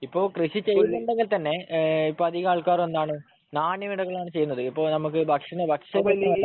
ഇപ്പൊ കൃഷി ചെയ്യുന്നുണ്ടെങ്കിൽത്തന്നെ ഇപ്പൊ അധികം ആൾക്കാർ എന്താണ് നാണ്യവിളകളാണ് ചെയ്യുന്നത്. ഇപ്പൊ നമുക്ക് ഭക്ഷണം